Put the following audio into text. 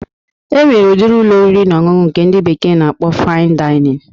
E nwere udiri Ụlọ oriri na ọṅụṅụ nke ndị bekee na-akpọ Fain Dainịn